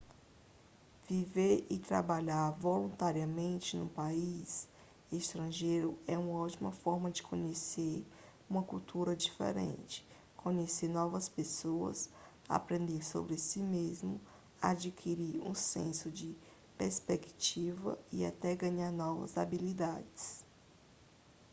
viver e trabalhar voluntariamente num país estrangeiro é uma ótima forma de conhecer uma cultura diferente conhecer novas pessoas aprender sobre si mesmo adquirir um senso de perspectiva e até ganhar novas habilidades